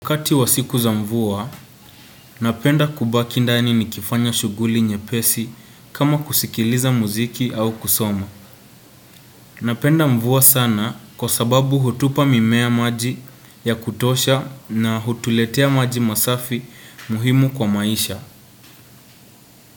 Wakati wa siku za mvua, napenda kubaki ndani nikifanya shughuli nyepesi kama kusikiliza muziki au kusoma. Napenda mvua sana kwa sababu hutupa mimea maji ya kutosha na hutuletea maji masafi muhimu kwa maisha.